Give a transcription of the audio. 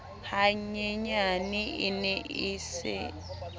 hanyenyane e ne e se